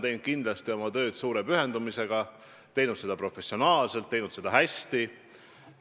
Tanel on kindlasti teinud oma tööd suure pühendumusega, teinud seda professionaalselt, teinud seda hästi.